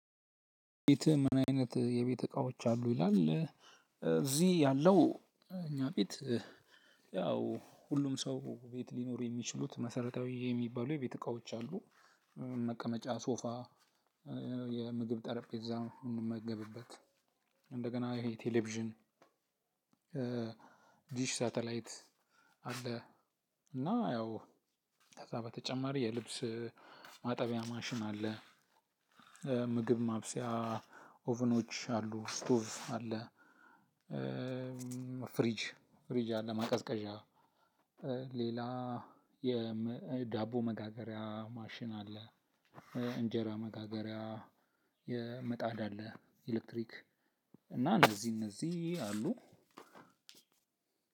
ቤት ምን አይነት የቤት እቃዎች አሉ ይላል እዚህ ያለው እኛ ቤት? ሁሉም ሰው ቤት ሊኖር የሚችሉት መሰረታዊ የሚባሉ የቤት እቃዎች አሉ። መቀመጫ ሶፋ። የምግብ ጠረጴዛ ምንመገብበት። እንደገና ይሄ ቴሌቪዥን። ዲሽ ሳተላይት አለ። እና ያው ከዛ በተጨማሪ የልብስ ማጠቢያ ማሽን አለ። ምግብ ማብሰያ ኦቭኖች አሉ ስቶቭ አለ። ፍሪጅ ፍሪጅ አለ ማቀዝቀዣ ሌላ የዳቦ መጋገሪያ ማሽን አለ። እንጀራ መጋገሪያ የምጣድ አለ ኤሌክትሪክ እና እነዚህ እነዚህ አሉ።